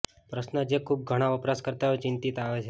પ્રશ્ન જે ખૂબ ઘણા વપરાશકર્તાઓ ચિંતિત આવે છે